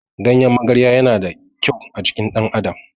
Ganyen magarya yana da ƙyau a jikin ɗan adam